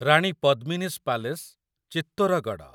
Rani Padmini's palace Chittorgarh